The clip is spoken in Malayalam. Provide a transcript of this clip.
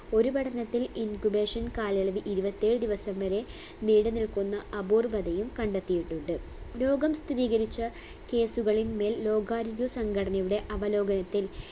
ഒരു പഠനത്തിൽ incubation കാലയളവ് ഇരുവത്തേഴ് ദിവസം വരെ നീണ്ടു നിൽക്കുന്ന അപൂർവതയും കണ്ടെത്തിയിട്ടുണ്ട് ലോകം സ്ഥിതീകരിച്ച case കളിന്മേൽ ലോകാരോഗ്യ സംഘടനയുടെ അവലോകനത്തിൽ